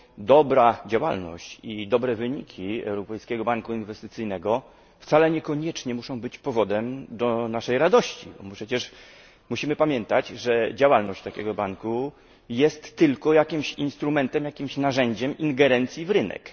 Dobra działalność i dobre wyniki Europejskiego Banku Inwestycyjnego niekoniecznie muszą być powodem do naszej radości, bo przecież musimy pamiętać, że działalność takiego banku jest tylko instrumentem, narzędziem ingerencji w rynek.